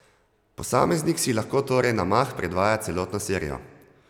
Posameznik si lahko torej na mah predvaja celotno serijo.